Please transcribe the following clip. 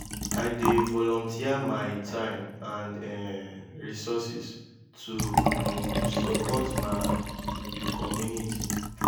i dey volunteer my time and um resources to um support my community.